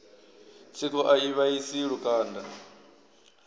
tsiko a i vhaisi lukanda